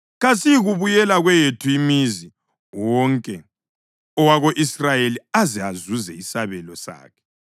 Kasiyikubuyela kweyethu imizi wonke owako-Israyeli aze azuze isabelo sakhe.